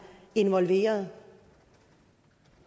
involveret